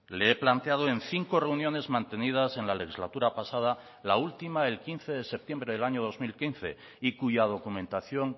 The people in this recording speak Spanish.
le he planteado en cinco reuniones mantenidas en la legislatura pasada la última el quince de septiembre del año dos mil quince y cuya documentación